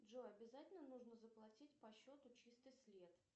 джой обязательно нужно заплатить по счету чистый след